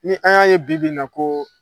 Ni an y'a ye bi bi in na ko